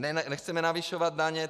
Nechceme navyšovat daně.